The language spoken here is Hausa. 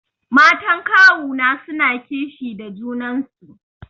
Matan kawuna suna kishi da junan su.